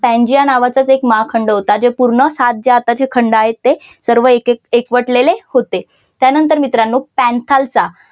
Pangaea नावाचाच एक महाखंड होता जे पूर्ण सात जे आताचे खंड आहे ते सर्व एक एक एकवटलेले होते त्यानंतर मित्रांनो पैंथालसा